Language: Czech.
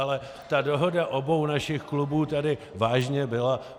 Ale ta dohoda obou našich klubů tady vážně byla.